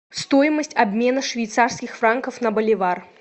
стоимость обмена швейцарских франков на боливар